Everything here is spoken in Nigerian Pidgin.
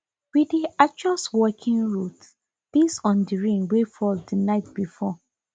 we dey adjust walking routes based on the rain wey fall the night before